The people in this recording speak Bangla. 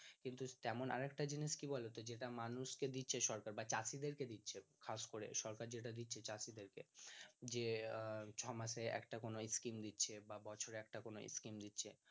কিন্তু তেমন আর একটা জিনিস ও আছে কি বলো তো যেটা মানুষ কে দিচ্ছে সরকার বা চাষী দের কে দিচ্ছে খাস করে সরকার যেটা দিচ্ছে চাষী দেরকে যে ছয় মাসে একটা কোনো scheme দিচ্ছে বা বছরে একটা কোনো scheme দিচ্ছে